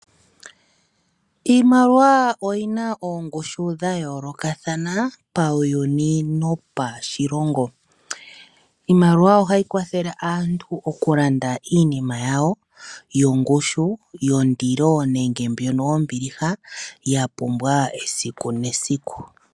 Iimaliwa oyi na oongushu dha yoolokathana pawuyuni nopashilongo, iimaliwa ohayi kwathele aantu okulanda iinima yawo yongushu yondilo nenge mbyono yombiliha ya pumbwa esiku nesiku.